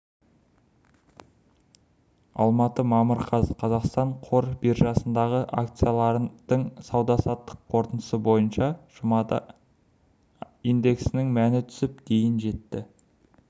алматы мамыр қаз қазақстан қор биржасындағы акциялардың сауда-саттық қорытындысы бойынша жұмада индексінің мәні түсіп дейін жетті